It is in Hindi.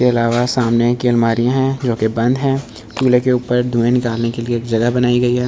इसके अलावा सामने की अलमारियां हैं जो कि बंद है। चूल्हे के ऊपर धुए निकालने के लिए जगह बनाई गई है।